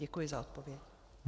Děkuji za odpověď.